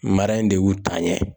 Mara in de y'u taa ɲɛ